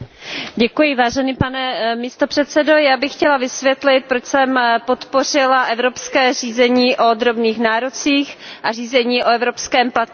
Pane předsedající, já bych chtěla vysvětlit, proč jsem podpořila evropské řízení o drobných nárocích a řízení o evropském platebních rozkazu.